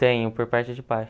Tenho, por parte de pai.